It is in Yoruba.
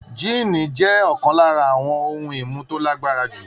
Jíìnì jẹ́ ọ̀kan lára àwọn ohun-ìmu tó lágbára jù.